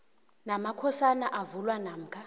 namakhosana avulwa namkha